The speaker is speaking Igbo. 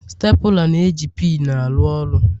Stapula na-eji pinu aru ọrụ.